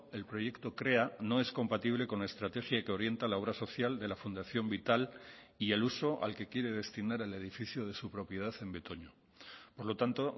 el proyecto krea no es compatible con la estrategia que orienta la obra social de la fundación vital y el uso al que quiere destinar el edificio de su propiedad en betoño por lo tanto